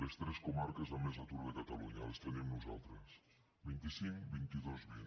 les tres comarques amb més atur de catalunya les tenim nosaltres vint cinc vint dos vint